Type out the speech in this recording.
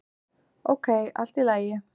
"""Ókei, allt í lagi."""